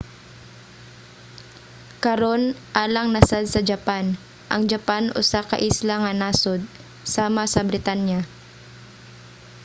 karon alang na sad sa japan. ang japan usa ka isla nga nasod sama sa britanya